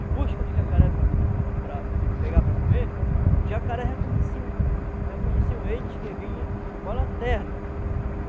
em busca do jacaré para para pegar para comer, os jacarés reconheciam reconheciam eles que vinham com a lanterna.